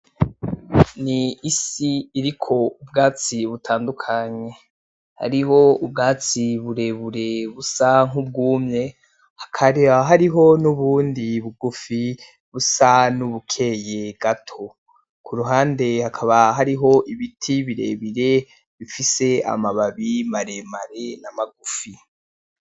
Ni isi iriko ubwatsi butandukanye hariho ubwatsi burebure busa nkubwumye hakaba hariho nubundi bugufi busa nubukeye gato kuruhande hakaba hariho ibiti birebire bifise amababi maremare na magufi